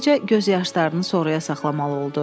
Beləcə göz yaşlarını sonrağa saxlamalı oldu.